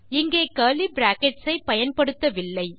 இங்கே curly brackets ஐ பயன்படுத்தவில்லை